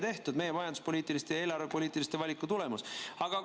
See on meie majanduspoliitiliste ja eelarvepoliitiliste valikute tulemus.